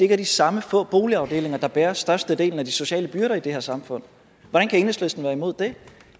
er de samme få boligafdelinger der bærer størstedelen af de sociale byrder i det her samfund hvordan kan enhedslisten være imod det